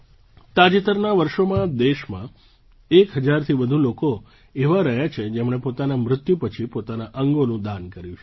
તાજેતરનાં વર્ષોમાં દેશમાં એક હજારથી વધુ લોકો એવા રહ્યા છે જેમણે પોતાના મૃત્યુ પછી પોતાનાં અંગોનું દાન કર્યું છે